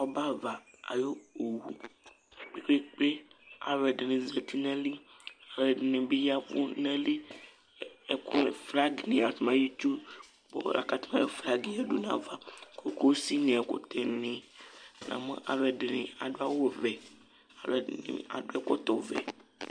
Ɔbɛ ava ayʋ owʋ kpe kpe Alʋɛdìní zɛti nʋ ayìlí Alʋɛdìní bi yavu nʋ ayìlí Flag ayʋ itsu kʋ flag yadu nʋ ayʋ ava Ʋsi ni, ɛkʋtɛ ni Namu alʋɛdìní adu awu vɛ Alʋɛdìní adu ɛkɔtɔ vɛ